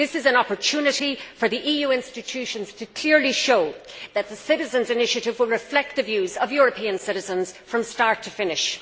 This is an opportunity for the EU institutions to clearly show that the citizens' initiative will reflect the views of European citizens from start to finish.